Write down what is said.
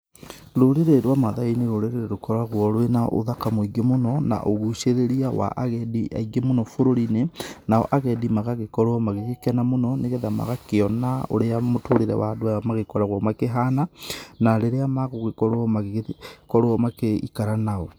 Rurĩrĩ rwa maathai nĩ rũrĩrĩ rũkoragwo rwĩna ũthaka mũingĩ mũno, na ugucĩrĩrĩa wa ageni aingĩ muno bururiĩnĩ, nao agendi magagĩkorwo magĩgĩkena mũno, nĩgetha magĩkĩona urĩa mũtũrĩre wa andu aya magĩkoragwo makĩhana, na rĩrĩa magugĩkorwo, magĩgĩikaranao.